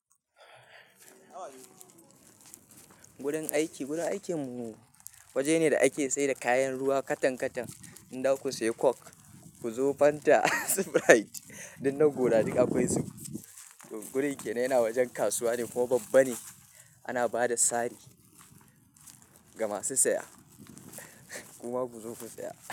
Gurun aiki, gurun aikin mu waje ne da ake sayar da kayan ruwa katan katan. Inza ku sayi coke, ku zo fanta, sprite, duk na gora duk akwai su. Gurun aikin yana wajen kasuwa ne kuma babba ne. Ana ba da sari ga masu saya. Kuma ku zo ku saya.